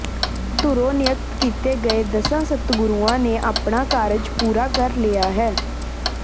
ਧੁਰੋਂ ਨੀਯਤ ਕੀਤੇ ਗਏ ਦਸਾਂ ਸਤਿਗੁਰੂਆਂ ਨੇ ਆਪਣਾ ਕਾਰਜ ਪੂਰਾ ਕਰ ਲਿਆ ਹੈ